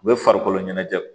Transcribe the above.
U bɛ farikolo ɲɛnajɛ